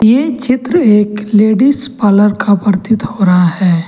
ये चित्र एक लेडिस पार्लर का प्रतीत हो रहा है।